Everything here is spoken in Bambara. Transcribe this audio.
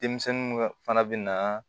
Denmisɛnninw ka fana bina